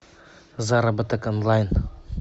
заработок онлайн